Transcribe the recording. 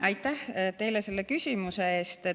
Aitäh selle küsimuse eest!